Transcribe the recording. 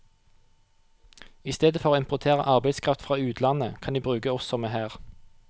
I stedet for å importere arbeidskraft fra utlandet, kan de bruke oss som er her.